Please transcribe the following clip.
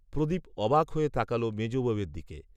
প্রদীপ অবাক হয়ে তাকাল মেজ বৌয়ের দিকে